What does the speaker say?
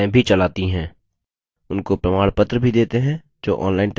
उनको प्रमाणपत्र भी देते हैं जो online test pass करते हैं